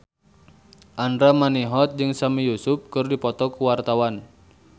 Andra Manihot jeung Sami Yusuf keur dipoto ku wartawan